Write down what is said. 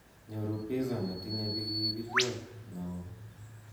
Nyoru piza netinye pikipiliot neo